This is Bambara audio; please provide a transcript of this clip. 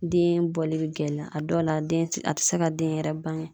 Den bɔli bɛ gɛlɛya , a dɔw la den ti a tɛ se ka den yɛrɛ bange.